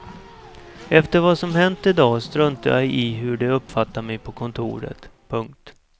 Efter vad som hänt i dag struntar jag i hur de uppfattar mig på kontoret. punkt